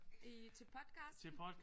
I til podcasten